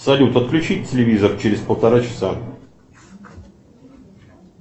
салют отключить телевизор через полтора часа